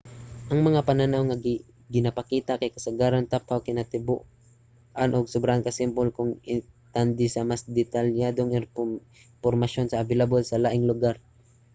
ang mga panan-aw nga ginapakita kay kasagaran taphaw kinatibuk-an ug sobraan ka simple kung itandi sa mas detalyadong impormasyon nga available sa laing lugar